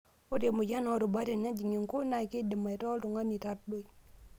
Ore emoyian oorubat tenejing' inkung' naa keidim aitaa oltung'ani tardoi.